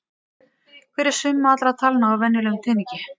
Hver er summa allra talna á venjulegum teningi?